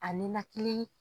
A ninakili.